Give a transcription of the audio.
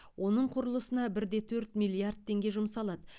оның құрылысына бір де төрт миллиард теңге жұмсалады